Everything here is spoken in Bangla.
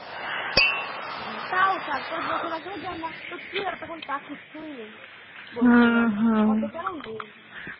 ও তাও চার পাঁচ বছর আগে তো কী হয়েছে তা কিছুই নেই।